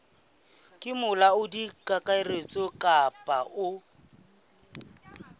ke molaodi kakaretso kapa o